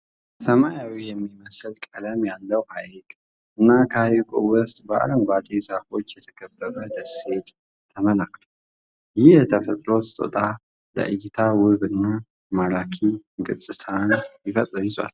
ሰማያዊ የሚመስል ቀለም ያለው ሀይቅ እና ከሀይቁ ውስጥ በአረንጓዴ ዛፎች የተከበበ ደሴት ተመላክቷል። ይህም የተፈጥሮ ስጦታ ለእይታ ውብ እና ማራኪ ገፅታን ይዟል።